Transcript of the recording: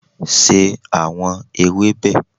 se awọn ewebe!